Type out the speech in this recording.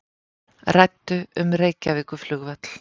Ræddu um Reykjavíkurflugvöll